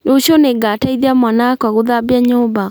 Rũciũ nĩngateithia mwana wakwa gũthambia nyũmba